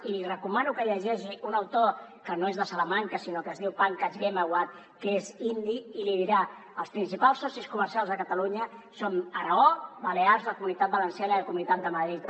i li recomano que llegeixi un autor que no és de salamanca sinó que es diu pankaj ghemawat que és indi i l’hi dirà els principals socis comercials de catalunya són aragó balears la comunitat valenciana i la comunitat de madrid